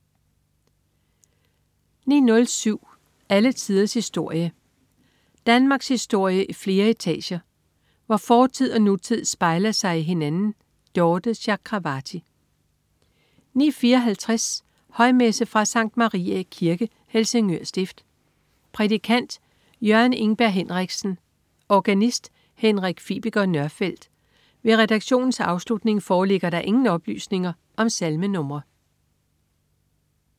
09.07 Alle tiders historie. Danmarkshistorie i flere etager, hvor fortid og nutid spejler sig i hinanden. Dorthe Chakravarty 09.54 Højmesse. Fra Sct. Mariæ Kirke, Helsingør Stift. Prædikant: Jørgen Ingberg Henriksen. Organist: Henrik Fibiger Nørfelt. Ved redaktionens afslutning foreligger der ingen oplysninger om salmenr